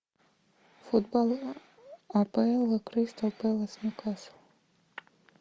футбол апл кристал пэлас ньюкасл